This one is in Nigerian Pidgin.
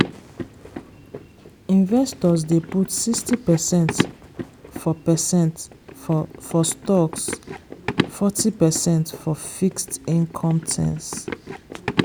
investors dey put sixty percent for percent for stocks forty percent for fixed income things.